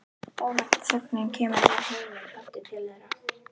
Óvænt þögnin kemur með heiminn aftur til þeirra.